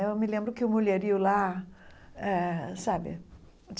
Eu me lembro que o mulherio lá eh sabe